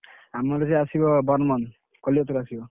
ଆମ DJ ଆସିବ ବର୍ମନ୍ କଲିକତାରୁ ଆସିବ।